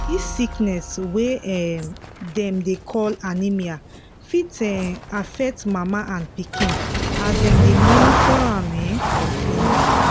this sickness wey um dem dey call anaemia fit um affect mama and pikin as dem dey monitor am um for clinic